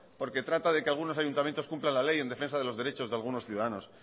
porque trata de que algunos ayuntamientos cumplan la ley en defensa de los derechos de algunos ciudadanos